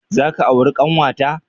Za ka auri ƙanwata?